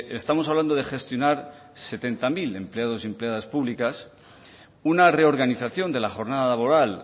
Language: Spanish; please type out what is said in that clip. estamos hablando de gestionar setenta mil empleados y empleadas públicas una reorganización de la jornada laboral